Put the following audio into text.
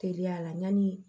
Teliya la yanni